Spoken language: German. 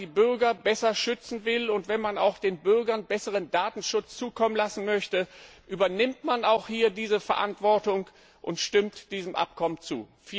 Wenn man die Bürger besser schützen will, und wenn man auch den Bürgern besseren Datenschutz zukommen lassen möchte, übernimmt man auch hier diese Verantwortung und stimmt diesem Abkommen zu.